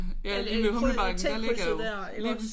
Ja ude ved T-krydset der iggås?